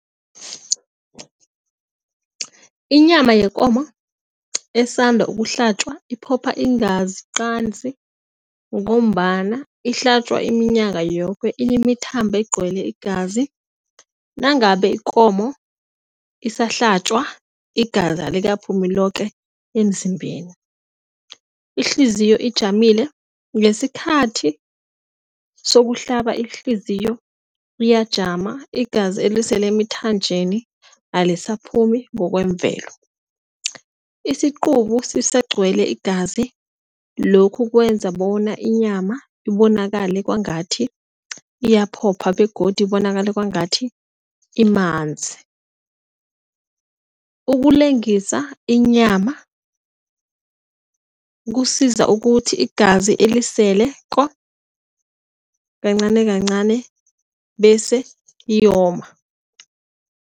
Inyama yekomo esanda ukuhlatjwa iphopha iingazi qanzi ngombana ihlatjwa iminyaka yoke, inemithambo egcwele igazi nangabe ikomo isahlatjwa igazi alikaphumi loke emzimbeni. Ihliziyo ijamile ngesikhathi sokuhlaba ihliziyo iyajama, igazi elisele emithanjeni alisiphumi ngokwemvelo. Isiqubu sisagcwele igazi, lokhu kwenza bona inyama ibonakale kwangathi iyaphopha begodu ibonakala kwangathi imanzi. Ukulengisa inyama kusiza ukuthi, igazi eliseleko kancani kancani bese liyoma.